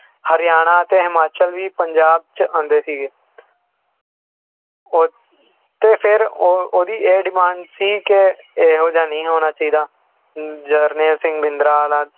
ਹਰਿਆਣਾ ਤੇ ਹਿਮਾਚਲ ਵੀ ਪੰਜਾਬ 'ਚ ਆਉਂਦੇ ਸੀਗੇ ਔਰ ਤੇ ਫਿਰ ਉਹ ਉਹਦੀ ਇਹ demand ਸੀ ਕਿ ਇਹੋ ਜਿਹਾ ਨਹੀਂ ਹੋਣਾ ਚਾਹੀਦਾ, ਜਨਰੈਲ ਸਿੰਘ ਭਿੰਡਰਾਂ ਵਾਲਾ